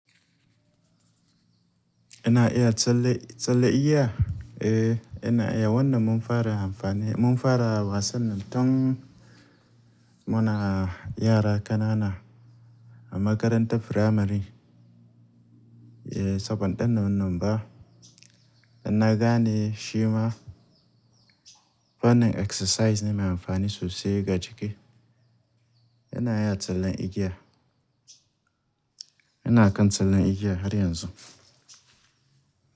Ina iya tsalle, tsalle iya. Eh, ina iya wannan mun fara amfani, mun fara wasan nan tun muna yara ƙanana a makarantar firamari. Eh, sabon ɗan wannan ba dan na gane shi ma fannin exercise ne mai amfani sosai ga jiki. Ina iya tsallen igiya. Ina kan tsallen igiya har yanzu.